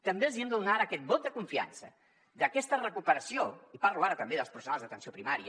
també els hi hem de donar ara aquest vot de confiança d’aquesta recuperació i parlo ara també dels professionals d’atenció primària